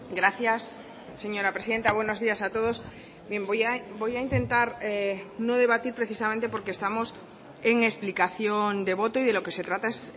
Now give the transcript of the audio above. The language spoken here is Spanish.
gracias señora presidenta buenos días a todos bien voy a intentar no debatir precisamente porque estamos en explicación de voto y de lo que se trata es